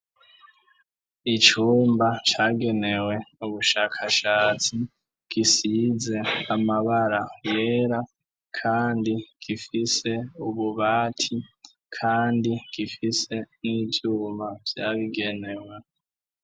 Icumba cagenewe ubushakashatsi gisize amabara yera, kandi gifise ububati, kandi gifise n'ivyumba vyabigenewe.